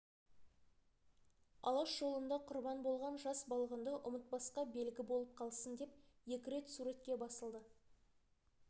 алаш жолында құрбан болған жас балғынды ұмытпасқа белгі болып қалсын деп екі рет суретке басылды